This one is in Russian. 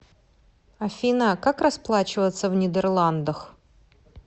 афина как расплачиваться в нидерландах